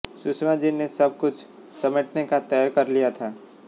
सुषमा जी ने सब कुछ समेटने का तय कर लिया था